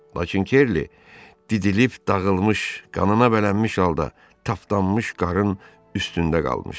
Lakin Kerli didilib dağılmış, qanına bələnmiş halda tapdanmış qarının üstündə qalmışdı.